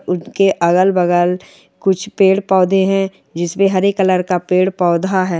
उनके अगल-बगल कुछ पेड़ पौधे हैं जिसमें हरे कलर का पेड़-पौधा हैं।